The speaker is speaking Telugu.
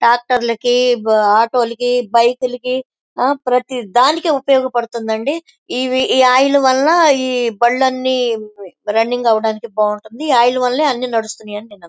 ట్రాక్టర్ లకి ఆటో లకి బైక్ లకి ప్రతి డానికి ఉపయోగ పడుతుంది ఈ ఆయిల్ వల్ల ఈ బండ్లన్నీ రన్నింగ్ అవడానికి ఉపయోగపడుతుంది అని నేను నమ్ముతున్నాను.